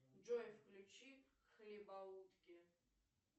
джой включи хлебоутки